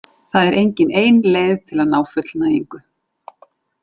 Það er engin ein leið til að ná fullnægingu.